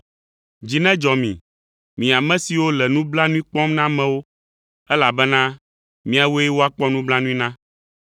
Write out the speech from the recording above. Dzi nedzɔ mi, mi ame siwo le nublanui kpɔm na amewo, elabena miawoe woakpɔ nublanui na.